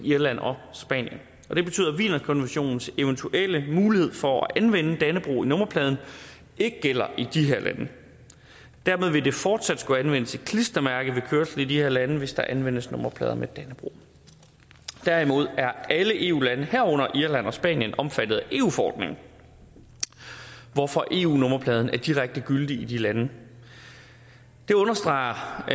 irland og spanien og det betyder at wienerkonventionens eventuelle mulighed for at anvende dannebrog på nummerpladen ikke gælder i de her lande dermed vil der fortsat skulle anvendes et klistermærke ved kørsel i de her lande hvis der anvendes nummerplade med dannebrog derimod er alle eu lande herunder irland og spanien omfattet af eu forordningen hvorfor eu nummerpladen er direkte gyldig i de lande det understreger